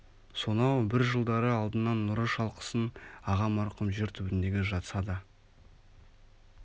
сонау бір жылдары алдынан нұры шалқысын аға марқұм жер түбіндегі жатса да